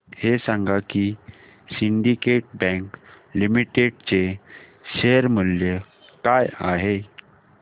हे सांगा की सिंडीकेट बँक लिमिटेड चे शेअर मूल्य काय आहे